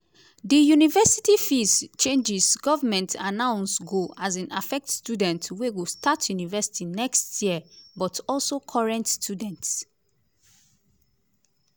di university fees changes government announce go um affect students wey go start university next year but also current students.